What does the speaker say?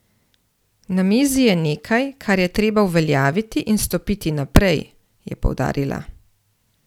Na mizi je nekaj, kar je treba uveljaviti in stopiti naprej, je poudarila.